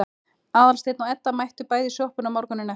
Aðalsteinn og Edda mættu bæði í sjoppuna morguninn eftir.